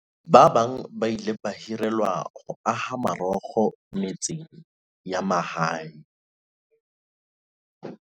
Ba bang ba ile ba hirelwa ho aha marokgo metseng ya mahae.